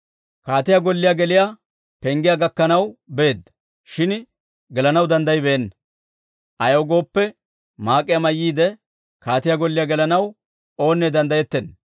Kaatiyaa golliyaa geliyaa penggiyaa gakkanaw beedda; shin gelanaw danddayibeenna. Ayaw gooppe, maak'iyaa mayyiide, kaatiyaa golliyaa gelanaw oonne danddayettenna.